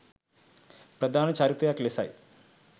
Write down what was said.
ප්‍රධාන චරිතයක් ලෙසයි